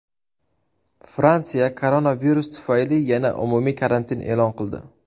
Fransiya koronavirus tufayli yana umumiy karantin e’lon qildi.